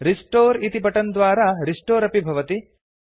restore इति button द्वारा restore अपि भवति